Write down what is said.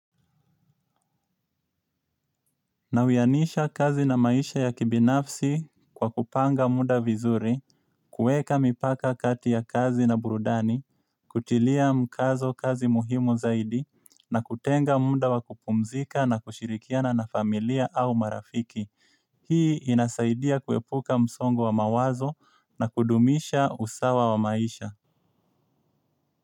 Nawiyanisha kazi na maisha ya kibinafsi kwa kupanga muda vizuri, kueka mipaka kati ya kazi na burudani, kutilia mkazo kazi muhimu zaidi, na kutenga muda wa kupumzika na kushirikiana na familia au marafiki. Hii inasaidia kuepuka msongo wa mawazo na kudumisha usawa wa maisha.